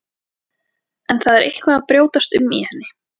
En það er eitthvað að brjótast um í henni.